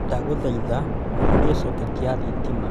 ndaguthaitha uhorie coketi ya thitima